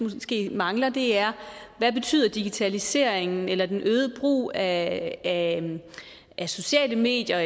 mangler er hvad betyder digitaliseringen eller den øgede brug af af sociale medier og